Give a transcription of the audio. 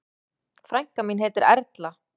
Frænka mín heitir Erla.